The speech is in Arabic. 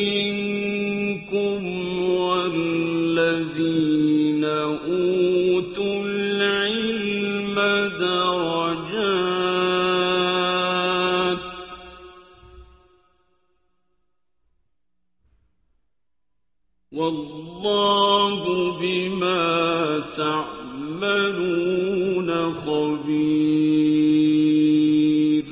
مِنكُمْ وَالَّذِينَ أُوتُوا الْعِلْمَ دَرَجَاتٍ ۚ وَاللَّهُ بِمَا تَعْمَلُونَ خَبِيرٌ